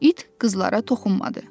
İt qızlara toxunmadı.